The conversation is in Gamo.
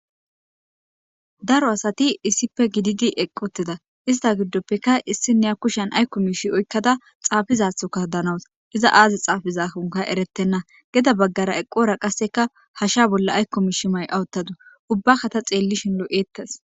Daro asati issipe shiqidi eqi utida ista gidope issineya ba kushen ayko mishe oyqada xaafizatho hanawus iza Azi xaafizan eretena gede bagara eqora qaseka hashen bolla ayko mishe Maya utadus ubaka ta xilishin lo'etes